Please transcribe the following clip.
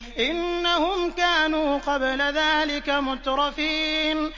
إِنَّهُمْ كَانُوا قَبْلَ ذَٰلِكَ مُتْرَفِينَ